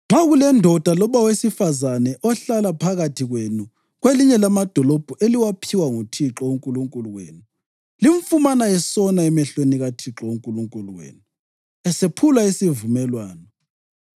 Nxa kulendoda loba owesifazane ohlala phakathi kwenu kwelinye lamadolobho eliwaphiwa nguThixo uNkulunkulu wenu limfumana esona emehlweni kaThixo uNkulunkulu wenu esephula isivumelwano,